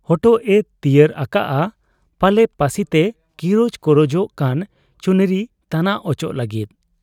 ᱦᱚᱴᱚᱜ ᱮ ᱛᱤᱭᱟᱹᱨ ᱟᱠᱟᱜ ᱟ ᱾ ᱯᱟᱞᱮ ᱯᱟᱹᱥᱤᱛᱮ ᱠᱤᱨᱚᱡ ᱠᱚᱨᱚᱡᱚᱜ ᱠᱟᱱ ᱪᱩᱱᱨᱤ ᱛᱟᱱᱟᱜ ᱚᱪᱚᱜᱽ ᱞᱟᱹᱜᱤᱫ ᱾